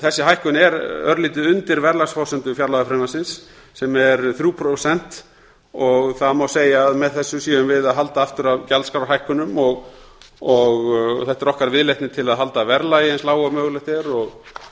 þessi hækkun er örlítið undir verðlagsforsendu fjárlagafrumvarpsins sem er þrjú prósent og það má segja að með þessu séum við að halda aftur af gjaldskrárhækkunum þetta er okkar viðleitni til að halda verðlagi eins lágu og mögulegt er og